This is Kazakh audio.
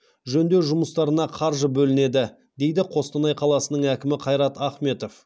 жөндеу жұмыстарына қаржы бөлінеді дейді қостанай қаласының әкімі қайрат ахметов